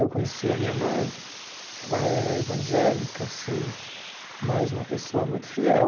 Eu conheci a minha mãe, ela era evangélica assim, mas uma pessoa muito fiel.